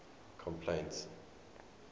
complaints